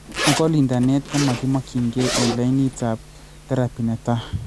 Ako lindane komakimokyinkee eng lainit ab teraphy netaa